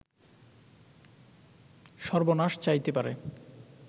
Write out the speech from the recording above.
সর্বনাশ চাইতে পারে